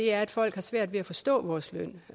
er at folk har svært ved at forstå vores løn